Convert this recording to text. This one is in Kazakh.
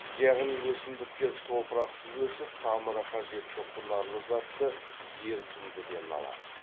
яғни өсімдіктер топырақсыз өсіп тамыры қажетті құнарлы затты ерітіндіден алады